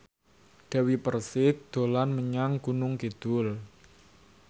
Dewi Persik dolan menyang Gunung Kidul